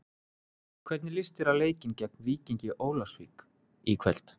Hvernig líst þér á leikinn gegn Víkingi Ólafsvík í kvöld?